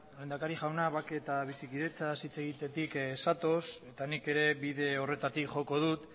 lehendakari jauna bake eta bizikidetzaz hitz egitetik zatoz eta nik ere bide horretatik joko dut